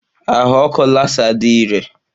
Ahụ ọkụ Lasá dị iré.